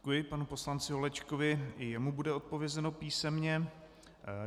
Děkuji panu poslanci Holečkovi, i jemu bude odpovězeno písemně.